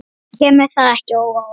Kemur það ekki á óvart.